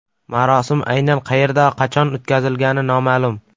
Marosim aynan qayerda, qachon o‘tkazilgani noma’lum.